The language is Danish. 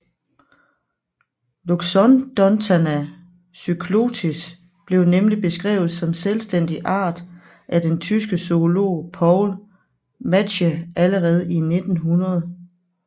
Loxondonta cyclotis blev nemlig beskrevet som selvstændig art af den tyske zoolog Paul Matschie allerede i 1900